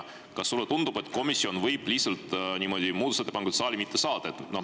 Kas sulle tundub, et komisjon võib lihtsalt niimoodi muudatusettepanekuid saali mitte saata?